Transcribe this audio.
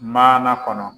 Maana kɔnɔ